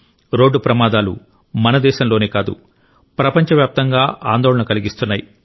road ప్రమాదాలు మన దేశంలోనే కాదు ప్రపంచవ్యాప్తంగా ఆందోళన కలిగిస్తున్నాయి